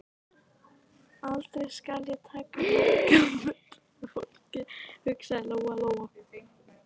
Aldrei skal ég taka mark á fullorðnu fólki, hugsaði Lóa Lóa.